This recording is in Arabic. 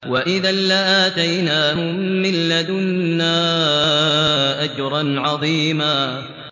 وَإِذًا لَّآتَيْنَاهُم مِّن لَّدُنَّا أَجْرًا عَظِيمًا